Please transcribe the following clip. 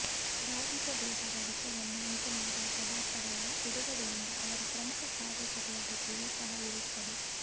ಬಾಧಿತ ದೇಹದ ವಿಷವನ್ನು ಉಂಟುಮಾಡುವ ಪದಾರ್ಥಗಳ ಬಿಡುಗಡೆಯಿಂದ ಅವರ ಪ್ರಮುಖ ಕಾರ್ಯಚಟುವಟಿಕೆಯು ಸಹ ಇರುತ್ತದೆ